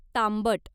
तांबट